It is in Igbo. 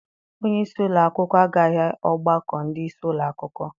Onyeisi ụlọakwụkwọ agaghị ọgbakọ ndị isi ụlọakwụkwọ.